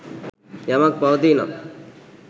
යමක් පවතී නම්